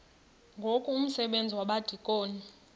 ngoku umsebenzi wabadikoni